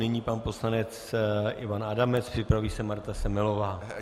Nyní pan poslanec Ivan Adamec, připraví se Marta Semelová.